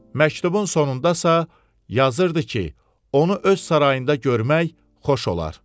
Məktubun sonunda isə yazırdı ki, onu öz sarayında görmək xoş olar.